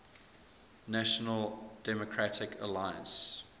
national democratic alliance